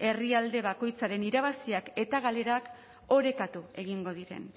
herrialde bakoitzaren irabaziak eta galerak orekatu egingo diren